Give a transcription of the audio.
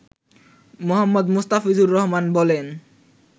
মো. মোস্তাফিজুর রহমান বলেন